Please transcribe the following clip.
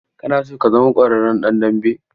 Kana so ka zama ƙwararren ɗan dambe?